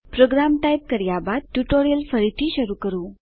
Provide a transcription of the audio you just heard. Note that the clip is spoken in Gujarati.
પ્રોગ્રામ ટાઈપ કર્યા બાદ ટ્યુટોરીયલ ફરીથી શરૂ કરો